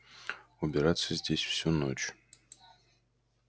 убираться здесь всю ночь